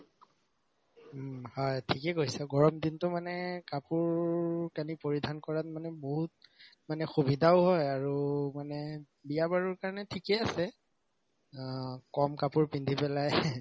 উম, হয় ঠিকে কৈছা গৰম দিনতো মানে কাপোৰ কানি পৰিধান কৰাত মানে বহুত মানে সুবিধাও হয় আৰু মানে বিয়া বাৰুৰ কাৰণে ঠিকে আছে অ কম কাপোৰ পিন্ধি পেলায়